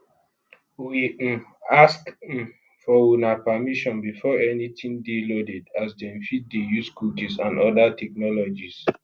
we um ask um for una permission before anytin dey loaded as dem fit dey use cookies and oda technologies